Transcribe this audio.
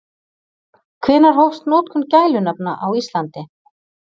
Hvenær hófst notkun gælunafna á Íslandi?